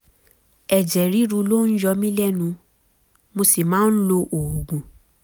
ẹ̀jẹ̀ ríru ló ń yọ mí lẹ́nu mo sì máa ń lo oògùn